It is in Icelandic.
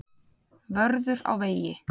Vörður á vegi.